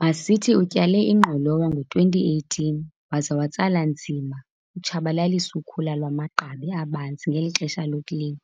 Masithi utyale ingqolowa ngo-2018 waze watsala nzima utshabalalisa ukhula lwamagqabi abanzi ngeli xesha lokulima.